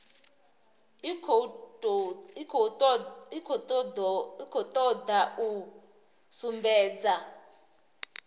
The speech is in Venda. i khou toda u sumbedza